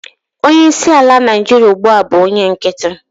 onye isi ala Naijiria ugbua bu onye nkiti